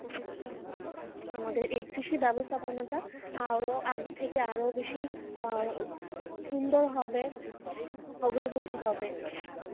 আমাদের এই কৃষির ব্যবস্থাপন্য টা আরও আগের থেকে আরও বেশি আহ সুন্দর হবে অগ্রগতি হবে ।